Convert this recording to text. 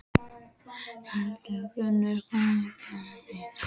Hildigunnur, hvað er í dagatalinu í dag?